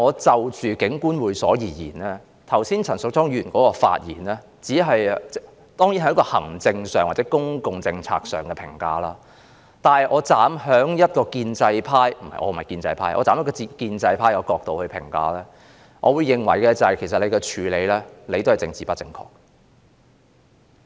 就着警官會所一事，陳淑莊議員剛才的發言只是從行政或公共政策上作出評價，如果我站在建制派——我並非建制派——的角度評價，其實這個處理手法也是政治不正確的。